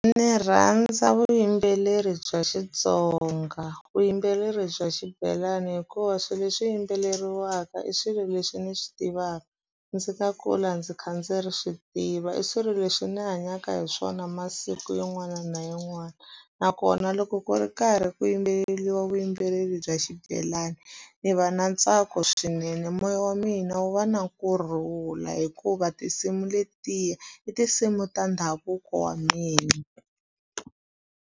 Ndzi rhandza vuyimbeleri bya Xitsonga vuyimbeleri bya xibelani hikuva swilo leswi yimbeleriwaka i swilo leswi ni swi tivaka ndzi nga kula ndzi kha ndzi ri swi tiva i swilo leswi ndzi hanyaka hi swona masiku yin'wana na yin'wana nakona loko ku ri karhi ku yimbeleriwa vuyimbeleri bya xibelani ni va na ntsako swinene moya wa mina wu va na kurhula hikuva tinsimu letiya i tinsimu ta ndhavuko wa mina.